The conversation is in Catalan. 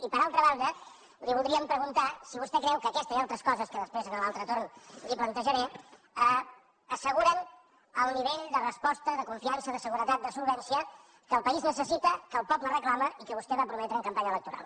i per altra banda li voldríem preguntar si vostè creu que aquesta i altres coses que després en l’altre torn li plantejaré asseguren el nivell de resposta de confiança de seguretat de solvència que el país necessita que el poble reclama i que vostè va prometre en campanya electoral